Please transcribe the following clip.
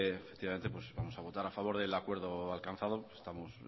efectivamente vamos a votar a favor del acuerdo alcanzado estamos